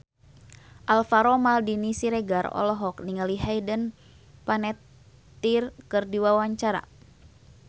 Alvaro Maldini Siregar olohok ningali Hayden Panettiere keur diwawancara